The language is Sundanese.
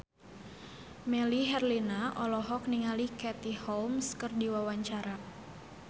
Melly Herlina olohok ningali Katie Holmes keur diwawancara